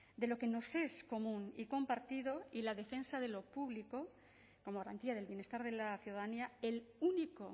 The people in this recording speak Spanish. de lo que nos es común y compartido y la defensa de lo público como garantía del bienestar de la ciudadanía el único